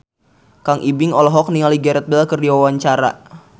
Kang Ibing olohok ningali Gareth Bale keur diwawancara